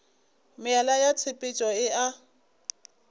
meela ya tshepetšo e a